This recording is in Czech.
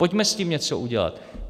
Pojďme s tím něco udělat.